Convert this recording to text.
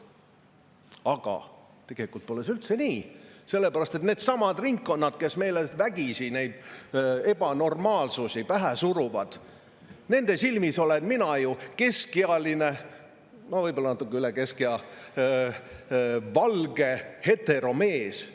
Aga tegelikult pole see üldse nii, sest nendesamade ringkondade silmis, kes meile vägisi neid ebanormaalsusi pähe suruvad, olen mina ju keskealine – võib-olla natukene üle keskea – valge heteromees.